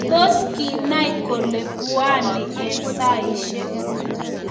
tos kinai kole buani eng saishek